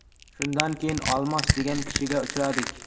Shundan keyin Olmos degan kishiga uchradik.